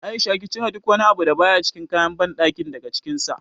A'isha ki cire duk wani abu da baya cikin kayan banɗakin daga cikin sa.